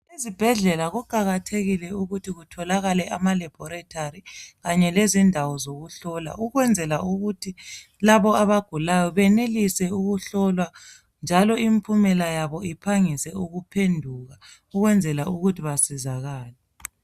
ezibhedlela kuqakathekile ukuthi kubekhona amalebholithali kanye lezindawo zokuhlola ukwenzela ukuba laba abagulayo benelise ukuhlolwa njalo impumela yabo iphangise ukuphenduka ukwenzela ukuba basizakale